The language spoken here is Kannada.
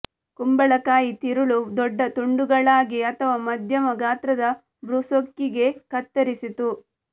ಕುಂಬಳಕಾಯಿ ತಿರುಳು ದೊಡ್ಡ ತುಂಡುಗಳಾಗಿ ಅಥವಾ ಮಧ್ಯಮ ಗಾತ್ರದ ಬ್ರೂಸ್ಕೊಕಿಗೆ ಕತ್ತರಿಸಿತು